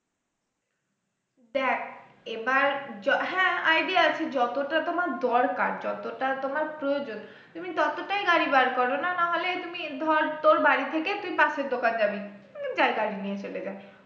দেখ এবার হ্যাঁ idea আছে যতটা তোমার দরকার যতটা তোমার প্রয়োজন তুমি ততটাই গাড়ি বার করো না না হলে তুমি ধর তোর বাড়ি থেকে তুই পাশের দোকান যাবি